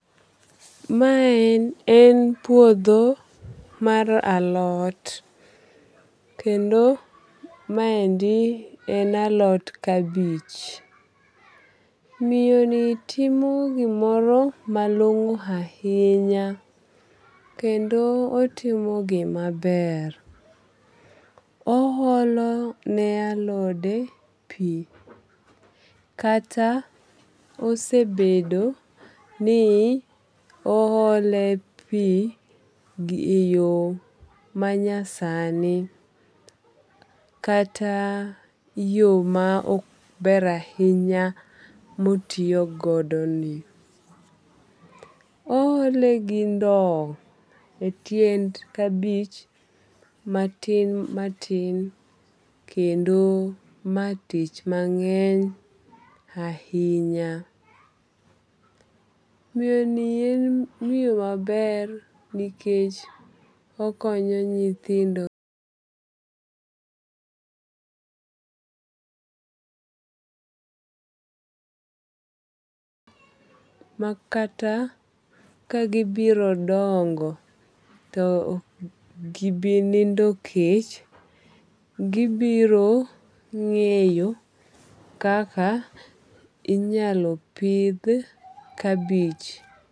Mae en puodho mar alot. Kendo maendi en alot kabich. Miyo ni timo gimoro malong'o ahinya kendo otimo gima ber. Oholo ne alode pi. Kata osebedo ni ohole pi e yo manyasani kata yo ma ok ber ahinya motiyo godo ni. Ohole gi ndow e tiend kabich matin matin kendo ma tich mang'eny ahinya. Miyo ni en miyo maber nikech okonyo nyithindo.[paise] makata ka gibiro dongo to ok gibi nindo kech. Gibiro ng'eyo kaka inyalo pidh kabich.